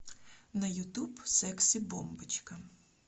на ютуб секси бомбочка